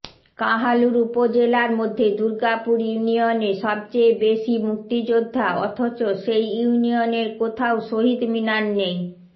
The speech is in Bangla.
কাহালুর উপজেলার মধ্যে দূর্গাপুর ইউনিয়নে সবচেয়ে বেশী মুক্তিযোদ্ধা অথচ সেই ইউনিয়নের কোথাও শহীদ মিনার নেই